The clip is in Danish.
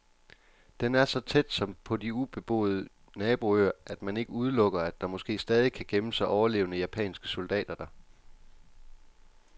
Den er så tæt, som på de ubeboede naboøer, at man ikke udelukker, at der måske stadig kan gemme sig overlevende japanske soldater der.